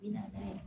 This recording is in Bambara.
I n'a fɔ